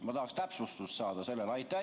Ma tahaksin täpsustust saada sellele.